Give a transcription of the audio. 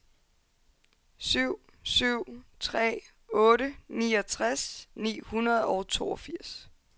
syv syv tre otte niogtres ni hundrede og toogfirs